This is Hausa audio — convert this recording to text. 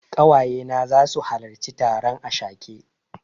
Ƙawaye na zasu halarci taron ashake.